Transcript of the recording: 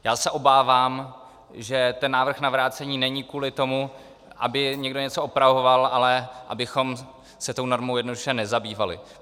Já se obávám, že ten návrh na vrácení není kvůli tomu, aby někdo něco opravoval, ale abychom se tou normou jednoduše nezabývali.